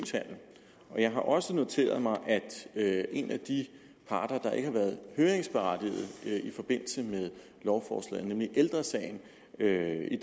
har også noteret mig at en af de parter der ikke har været høringsberettiget i forbindelse med lovforslaget nemlig ældre sagen i dag i